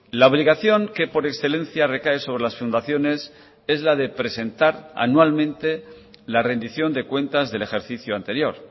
la obligación que por excelencia recae sobre las fundaciones es la de presentar anualmente la rendición de cuentas del ejercicio anterior